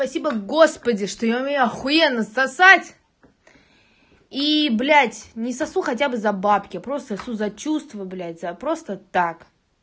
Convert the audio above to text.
спасибо господи что я умею ахуенно сосать и блять не сосу хотя бы за бабки а просто сосу за чувства блять за просто так